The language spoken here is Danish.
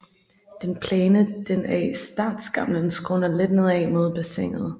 Den plane den af startskamlen skråner let nedad mod bassinet